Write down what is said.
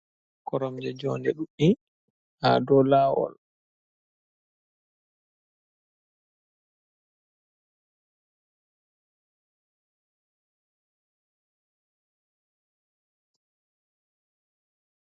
Koromje jonde ɗuɗɗi ha do lawol.